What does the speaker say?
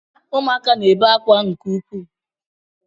Ụmụaka na-ebe akwa nke ukwuu